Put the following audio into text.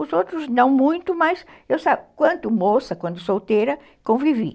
Os outros não muito, mas eu quanto moça, quando solteira, convivi.